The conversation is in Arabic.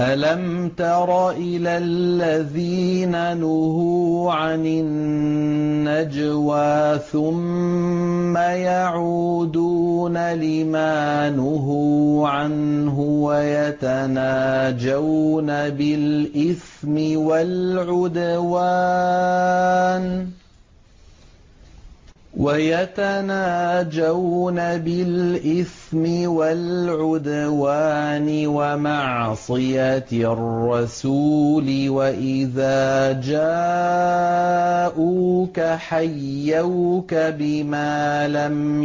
أَلَمْ تَرَ إِلَى الَّذِينَ نُهُوا عَنِ النَّجْوَىٰ ثُمَّ يَعُودُونَ لِمَا نُهُوا عَنْهُ وَيَتَنَاجَوْنَ بِالْإِثْمِ وَالْعُدْوَانِ وَمَعْصِيَتِ الرَّسُولِ وَإِذَا جَاءُوكَ حَيَّوْكَ بِمَا لَمْ